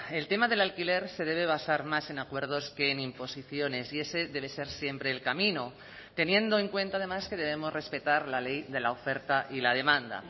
el tema del alquiler se debe basar más en acuerdos que en imposiciones y ese debe ser siempre el camino teniendo en cuenta además que debemos respetar la ley de la oferta y la demanda